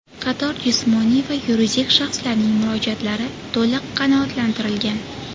Qator jismoniy va yuridik shaxslarning murojaatlari to‘liq qanoatlantirilgan.